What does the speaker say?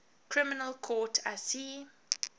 criminal court icc